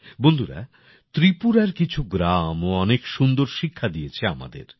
বন্ধুরা ত্রিপুরার কিছু গ্রাম ও অনেক সুন্দর শিক্ষা দিয়েছে আমাদের